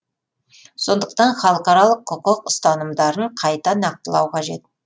сондықтан халықаралық құқық ұстанымдарын қайта нақтылау қажет